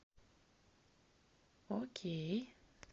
окей